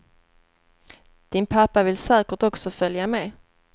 Din pappa vill säkert också följa med.